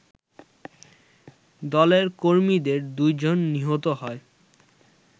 দলের কর্মীদের দুজন নিহত হয়